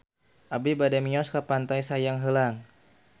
Abi bade mios ka Pantai Sayang Heulang